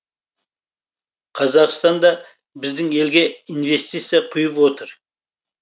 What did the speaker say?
қазақстан да біздің елге инвестиция құйып отыр